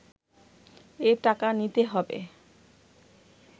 এ টাকা নিতে হবে